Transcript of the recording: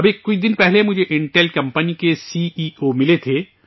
ابھی کچھ دن پہلے مجھے سے انٹیل کمپنی کے سی ای او ملے تھے